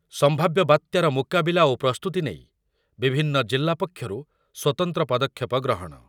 ସମ୍ଭାବ୍ୟ ବାତ୍ୟାର ମୁକାବିଲା ଓ ପ୍ରସ୍ତୁତି ନେଇ ବିଭିନ୍ନ ଜିଲ୍ଲା ପକ୍ଷରୁ ସ୍ୱତନ୍ତ୍ର ପଦକ୍ଷେପ ଗ୍ରହଣ